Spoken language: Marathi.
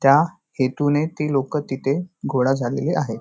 त्या हेतूने ती लोक तिथे गोळा झालेली आहेत.